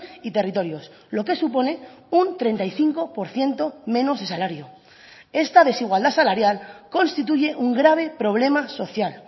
y territorios lo que supone un treinta y cinco por ciento menos de salario esta desigualdad salarial constituye un grave problema social